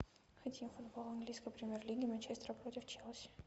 хотим футбол английской премьер лиги манчестера против челси